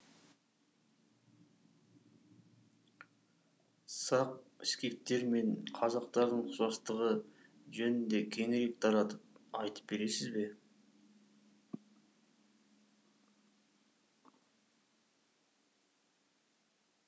сақ скифтер мен қазақтардың ұқсастығы жөнінде кеңірек таратып айтып бересіз бе